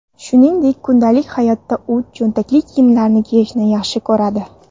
Shuningdek, kundalik hayotda u cho‘ntakli kiyimlarni kiyishni yaxshi ko‘radi.